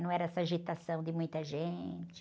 Não era essa agitação de muita gente.